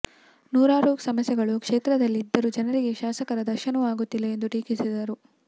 ನೂರಾರು ಸಮಸ್ಯೆಗಳು ಕ್ಷೇತ್ರದಲ್ಲಿ ಇದ್ದರೂ ಜನರಿಗೆ ಶಾಸಕರ ದರ್ಶನವೂ ಆಗುತ್ತಿಲ್ಲಾ ಎಂದು ಟೀಕಿಸಿದರು